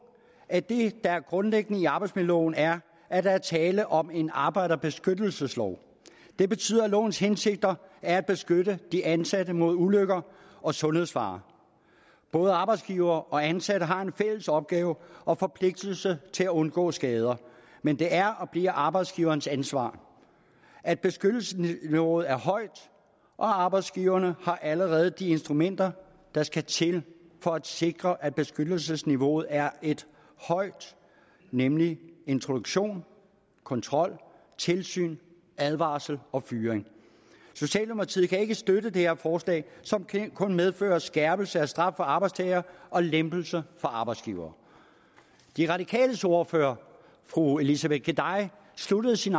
at det der er grundlæggende i arbejdsmiljøloven er at der er tale om en arbejderbeskyttelseslov det betyder at lovens hensigter er at beskytte de ansatte mod ulykke og sundhedsfare både arbejdsgivere og ansatte har en fælles opgave og forpligtelse til at undgå skader men det er og bliver arbejdsgiverens ansvar at beskyttelsesniveauet er højt og arbejdsgiverne har allerede de instrumenter der skal til for at sikre at beskyttelsesniveauet er højt nemlig introduktion kontrol tilsyn advarsel og fyring socialdemokratiet kan ikke støtte det her forslag som kun medfører skærpelse af straf for arbejdstager og lempelse for arbejdsgiver de radikales ordfører fru elisabeth geday sluttede sin